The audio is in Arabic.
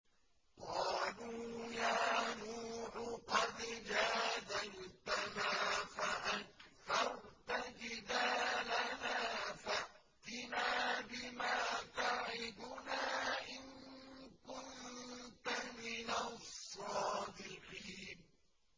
قَالُوا يَا نُوحُ قَدْ جَادَلْتَنَا فَأَكْثَرْتَ جِدَالَنَا فَأْتِنَا بِمَا تَعِدُنَا إِن كُنتَ مِنَ الصَّادِقِينَ